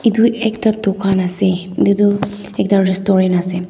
edu ekta dukan ase edu tu ekta restaurant ase.